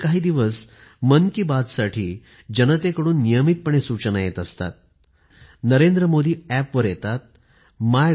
गेले काही दिवस मन कि बात साठी जनतेकडून नियमितपणे सूचना येत असतात NarendraModiApp वर येतात MyGov